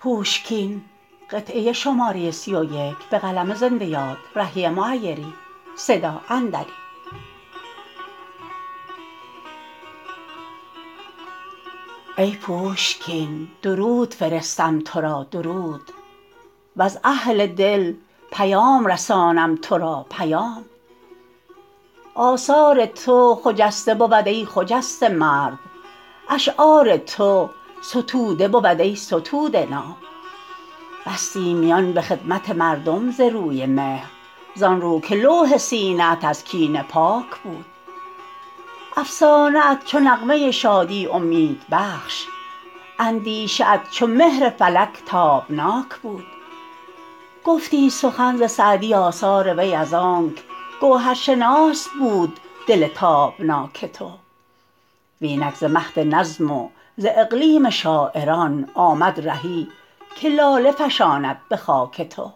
ای پوشکین درود فرستم تو را درود وز اهل دل پیام رسانم تو را پیام آثار تو خجسته بود ای خجسته مرد اشعار تو ستوده بود ای ستوده نام بستی میان به خدمت مردم ز روی مهر زان رو که لوح سینه ات از کینه پاک بود افسانه ات چو نغمه شادی امیدبخش اندیشه ات چو مهر فلک تابناک بود گفتی سخن ز سعدی آثار وی از آنک گوهرشناس بود دل تابناک تو وینک ز مهد نظم وز اقلیم شاعران آمد رهی که لاله فشاند به خاک تو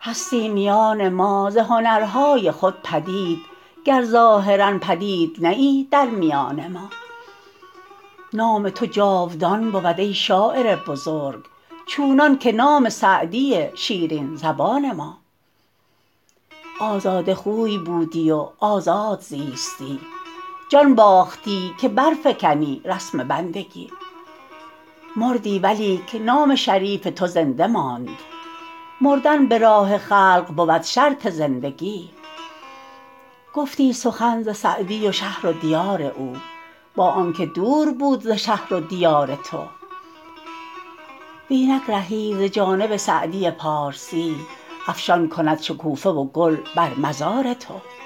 هستی میان ما ز هنرهای خود پدید گر ظاهرا پدید نه ای در میان ما نام تو جاودان بود ای شاعر بزرگ چونان که نام سعدی شیرین زبان ما آزاده خوی بودی و آزاد زیستی جان باختی که برفکنی رسم بندگی مردی ولیک نام شریف تو زنده ماند مردن به راه خلق بود شرط زندگی گفتی سخن ز سعدی و شهر و دیار او با آنکه دور بود ز شهر و دیار تو وینک رهی ز جانب سعدی پارسی افشان کند شکوفه و گل بر مزار تو